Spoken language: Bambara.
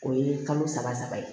O ye kalo saba saba ye